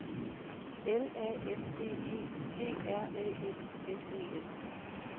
L A N D E G R Æ N S E N